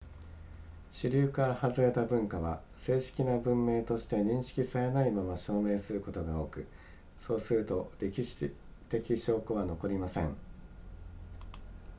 主流からはずれた文化は正式な文明として認識されないまま消滅することが多くそうすると歴史的証拠は残りません